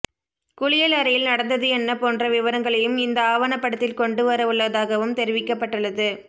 குளியல் அறையில் நடந்தது என்ன போன்ற விவரங்களையும் இந்த ஆவணப்படத்தில் கொண்டு வரவுள்ளதாகவும் தெரிவிக்கப்பட்டுள்ளது